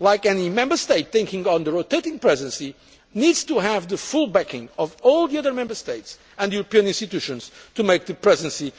like any Member State taking on the rotating Presidency, needs to have the full backing of all the other Member States and the European institutions to make the Presidency